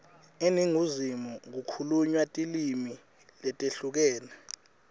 eningizimu kukhulunywa tilimi letehlukene